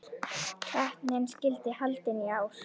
Keppnin skyldi haldin í ár.